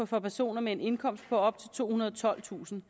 for personer med en indkomst på op til tohundrede og tolvtusind